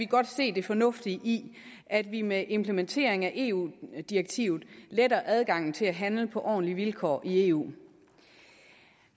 godt se det fornuftige i at vi med implementering af eu direktivet letter adgangen til at handle på ordentlige vilkår i eu